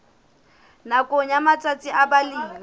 nakong ya matsatsi a balemi